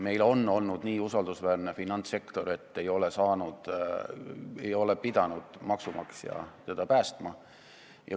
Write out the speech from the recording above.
Meil on olnud nii usaldusväärne finantssektor, et maksumaksja ei ole pidanud teda päästma.